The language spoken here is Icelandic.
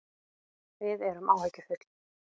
Við erum áhyggjufull